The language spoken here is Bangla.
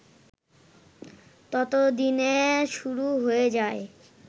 ততদিনে শুরু হয়ে যায়